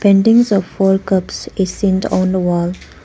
Paintings of four cups is seened on the wall.